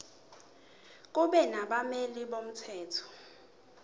kube nabameli bomthetho